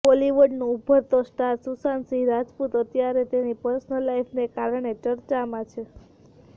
બોલિવૂડનો ઊભરતો સ્ટાર સુશાંત સિંહ રાજપૂત અત્યારે તેની પર્સનલ લાઈફને કારણે ચર્ચામાં છે